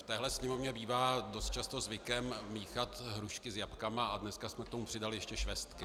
V téhle Sněmovně bývá dost často zvykem míchat hrušky s jablky a dneska jsme k tomu přidali ještě švestky.